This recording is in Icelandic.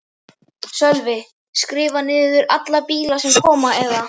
Sölvi: Skrifa niður alla bíla sem koma eða?